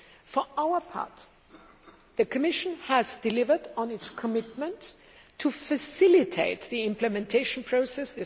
For our part, the Commission has delivered on its commitment to facilitate the implementation process.